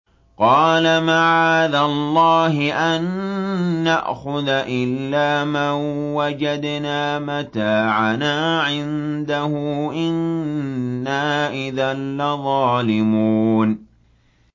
قَالَ مَعَاذَ اللَّهِ أَن نَّأْخُذَ إِلَّا مَن وَجَدْنَا مَتَاعَنَا عِندَهُ إِنَّا إِذًا لَّظَالِمُونَ